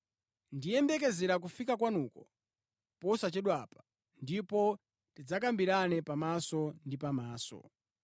Ndiyembekezera kufika kwanuko posachedwapa, ndipo tidzakambirana pamaso ndi pamaso.